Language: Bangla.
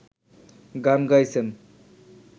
গান গাইছেন